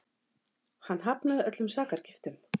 Hann hafnaði öllum sakargiftum